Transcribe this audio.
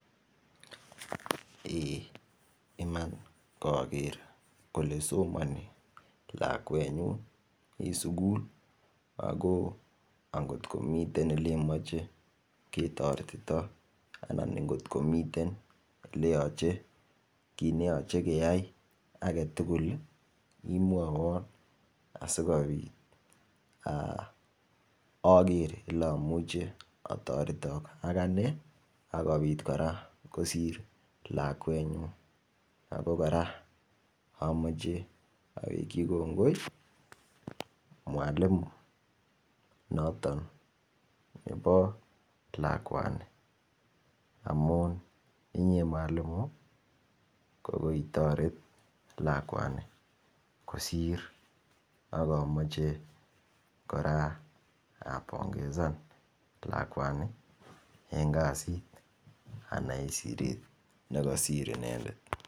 Iman kaker kole somani lakwet nyu eng sukul ako angomiten oleimeche ketoretito anan ngotkomiten ne yachei kia ake tugul imwowon asikopit ager oleamuche atoretok ak ane akopit kora kosir lakwenyu ako kora amache awekchi kongoi mwalimu noton nepo lakwani amun inye mwalimu ko koitoret lakwani kosir akomochei kora apongezan lakwani eng kasit ana eng siret nikasir inendet